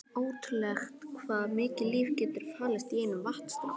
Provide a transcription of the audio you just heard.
Ótrúlegt hvað mikið líf getur falist í einum vatnsdropa.